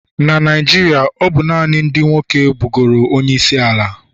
Na Naijiria, ọ bụ naanị ndị nwoke bụgoro onyeisiala